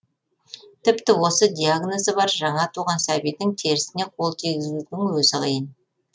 тіпті осы диагнозы бар жаңа туған сәбидің терісіне қол тигізудің өзі қиын